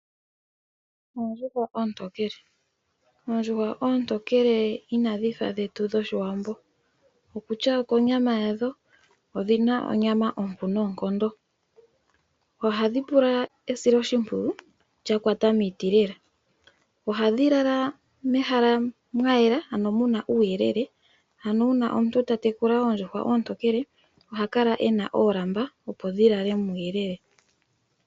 Oondjuhwa oontokelw, oondjuhwa oontokele ina dhifa dhetu dhOshiwambo okutya oko nyama yadho, odhina onyama ompu nonkondo. Ohadhi pula esilo shimpwiyu lya kwata miiti lela ohadhi lala mehala mwa yela ano muna uuyelele, ano una omuntu ta tekula oondjuhwa oontokele oha kala ena oolamba opo dhi lale muuyelele.